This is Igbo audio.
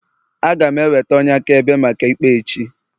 Aga m eweta onye akaebe maka ikpe a echi